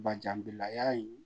Bajanbilaya in